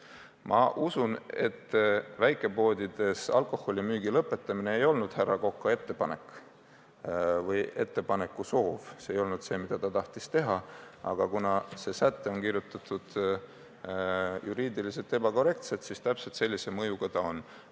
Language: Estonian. Ma usun, et väikepoodides alkoholi müügi lõpetamine ei olnud härra Koka soov – see ei olnud see, mida ta tahtis oma ettepanekuga teha –, aga kuna see säte on kirjutatud juriidiliselt ebakorrektselt, siis täpselt sellise mõjuga ta on.